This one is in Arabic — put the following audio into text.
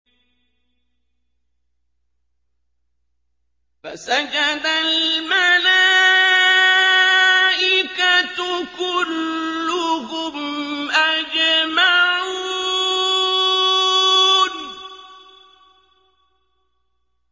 فَسَجَدَ الْمَلَائِكَةُ كُلُّهُمْ أَجْمَعُونَ